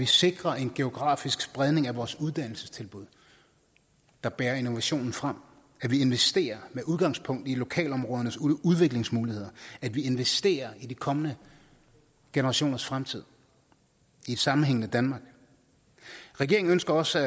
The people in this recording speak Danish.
sikre en geografisk spredning af vores uddannelsestilbud der bærer innovationen frem at vi investerer med udgangspunkt i lokalområdernes udviklingsmuligheder at vi investerer i de kommende generationers fremtid i et sammenhængende danmark regeringen ønsker også